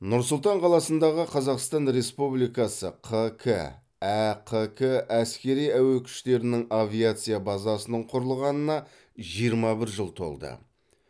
нұр сұлтан қаласындағы қазақстан республикасы қк әқк әскери әуе күштерінің авиация базасының құрылғанына жиырма бір жыл толды